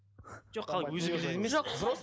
жоқ қалай өзі біледі емес